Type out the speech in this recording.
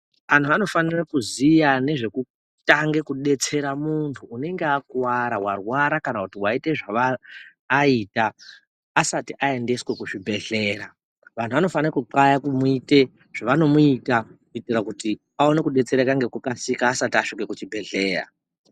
Antu anofana kuziya nezvekutanga kudetsera muntu unenge akuwara, warwara kana kuti waita zvaaita asati aiendeswa kuzvibhendlera. Vanhu vanofana kuxlaya kumuita zvavanomuita kuitira kuti aone kubetsereka ngekukasika asati asvika kuchibhedhleya.